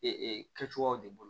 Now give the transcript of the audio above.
Ee kɛcogoyaw de bolo